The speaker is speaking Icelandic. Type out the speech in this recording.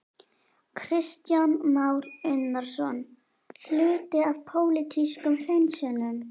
Kristján Már Unnarsson: Hluti af pólitískum hreinsunum?